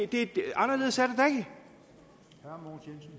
anderledes er